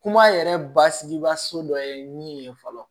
Kuma yɛrɛ basigi baso dɔ ye min ye fɔlɔ